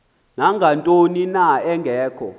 nangantoni na engekho